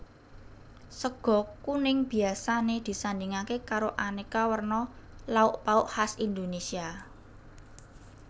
Sega kuning biasané disandhingké karo aneka werna lauk pauk khas Indonesia